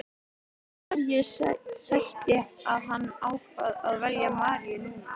En hverju sætti að hann ákvað að velja Maríu núna?